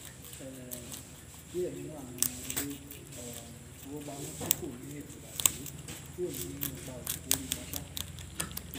um díẹ nínú àwọn ilé um ìfowópamó tí kò ní ètò àtẹlé yóò ní ìpá òdì lórí wọn um